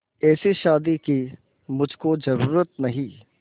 ऐसी शादी की मुझको जरूरत नहीं